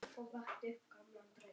Ég verð ekki eldri.